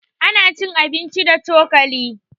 Ana cin abinci da cokali.